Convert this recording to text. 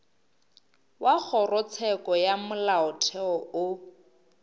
wa kgorotsheko ya molaotheo o